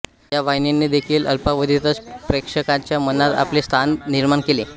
या वाहिनीने देखील अल्पावधीतच प्रेक्षकांच्या मनात आपले स्थान निर्माण केले